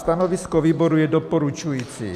Stanovisko výboru je doporučující.